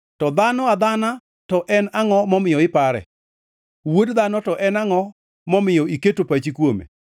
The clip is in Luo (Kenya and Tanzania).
to dhano adhana to en angʼo momiyo ipare, wuod dhano to en angʼo momiyo iketo pachi kuome?